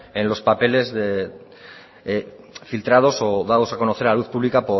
en los papeles de filtrados o dados a conocer a la luz pública